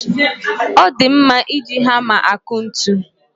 O di mma iji hama akụ ntu